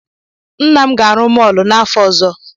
Nna m ga-arụ mọọlụ n'afọ ọzọ.